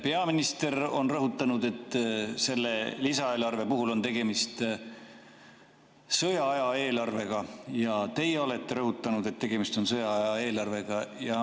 Peaminister on rõhutanud, et selle lisaeelarve puhul on tegemist sõjaaja eelarvega, ja ka teie olete rõhutanud, et tegemist on sõjaaja eelarvega.